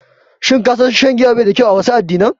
Shin ka san shan giya babu kyau a wasu addinan?